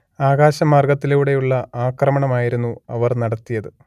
ആകാശമാർഗ്ഗത്തിലൂടെയുള്ള ആക്രമണമായിരുന്നു അവർ നടത്തിയത്